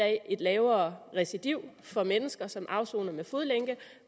er et lavere recidiv for mennesker som afsoner med fodlænke